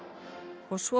og svo